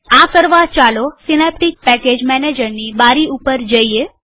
આ કરવા ચાલો સીનેપ્ટીક પેકેજ મેનેજરની બારી પર જઈએ